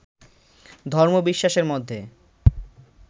ধর্মবিশ্বাসের মধ্যে